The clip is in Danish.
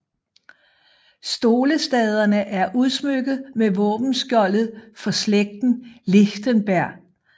Stolestaderne er udsmykket med våbenskjoldet for slægten Lichtenberg